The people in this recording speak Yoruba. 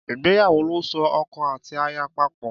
Ìgbéyàwó lo so oko àti aya papò